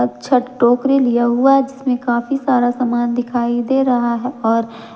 छठ टोकरी लिया हुआ जिसमें काफी सारा सामान दिखाई दे रहा है और--